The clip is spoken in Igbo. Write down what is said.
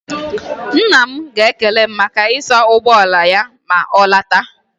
Nna m ga-ekele m maka ịsa ụgbọ ala ya ma ọ lọta.